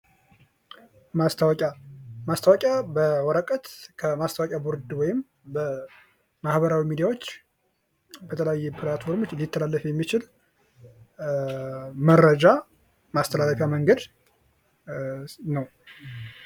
ማስታወቂያ ፦ ማስታወቂያ በወረቀት ከማስታወቂያ ቦርድ ወይም በማህበራዊ ሚዲያዎች በተለያየ ፕላትፎርም ሊተላለፍ የሚችል መረጃ ማስተላለፊያ መንገድ ነው ።